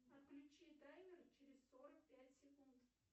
отключи таймер через сорок пять секунд